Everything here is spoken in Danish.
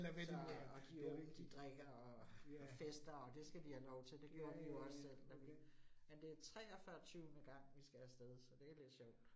Så og de unge de drikker og fester og det skal de have lov til det gjorde vi jo også selv da vi, men det treogfyrretyvende gang vi skal af sted, så det lidt sjovt